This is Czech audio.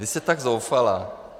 Vy jste tak zoufalá.